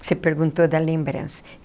Você perguntou da lembrança.